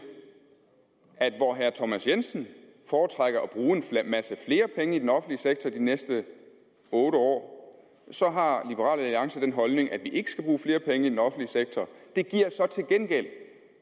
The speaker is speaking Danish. at hvor herre thomas jensen foretrækker at bruge en masse flere penge i den offentlige sektor de næste otte år så har liberal alliance den holdning at vi ikke skal bruge flere penge i den offentlige sektor det giver så til gengæld